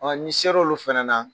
n'i ser'olu fana na